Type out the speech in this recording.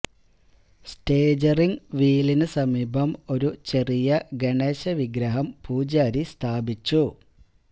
steering വീലിന് സമീപം ഒരു ചെറിയ ഗണേശ വിഗ്രഹം പൂജാരി സ്ഥാപിച്ചു